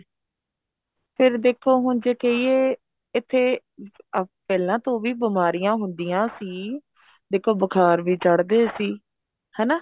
ਫ਼ਿਰ ਦੇਖੋ ਹੁਣ ਜੇ ਕਹਿਏ ਇੱਥੇ ਪਹਿਲਾਂ ਤੋਂ ਵੀ ਬੀਮਾਰੀਆਂ ਹੁੰਦੀਆਂ ਸੀ ਦੇਖੋ ਬੁਖਾਰ ਵੀ ਚੜਦੇ ਸੀ ਹਨਾ